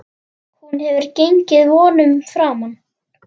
Hún hefur gengið vonum framar.